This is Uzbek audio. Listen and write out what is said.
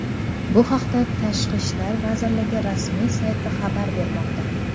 Bu haqda Tashqi ishlar vazirligi rasmiy sayti xabar bermoqda .